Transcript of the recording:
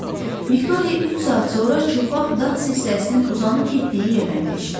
Viktoriya üç saat sonra çılpaq dağ silsiləsinin uzanıb getdiyi yerdən keçdi.